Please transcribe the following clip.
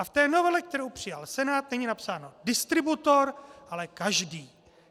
A v té novele, kterou přijal Senát, není napsáno distributor, ale každý.